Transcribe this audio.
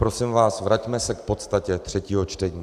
Prosím vás, vraťme se k podstatě třetího čtení.